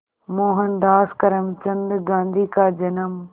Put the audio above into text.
मोहनदास करमचंद गांधी का जन्म